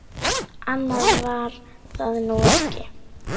Annað var það nú ekki.